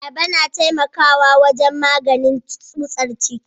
Ayaba tana taimakawa wajen maganin tsutsar ciki.